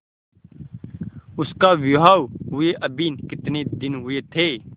उसका विवाह हुए अभी कितने दिन हुए थे